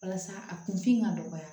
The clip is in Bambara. Walasa a kun fin ka dɔgɔya